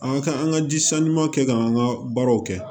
An ka kan an ka ji san ɲuman kɛ k'an ka baaraw kɛ